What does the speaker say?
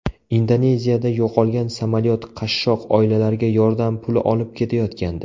Indoneziyada yo‘qolgan samolyot qashshoq oilalarga yordam puli olib ketayotgandi .